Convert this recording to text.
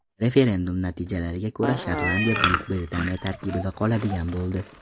Referendum natijalariga ko‘ra Shotlandiya Buyuk Britaniya tarkibida qoladigan bo‘ldi.